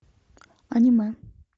аниме